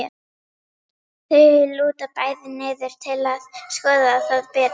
Þau lúta bæði niður til að skoða það betur.